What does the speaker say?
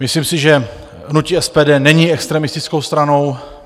Myslím si, že hnutí SPD není extremistickou stranou.